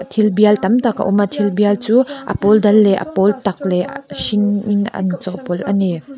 thil bial tam tak a awm a thil bial chu a pawl dal leh a pawl tak leh a hringin an chawhpawlh a ni.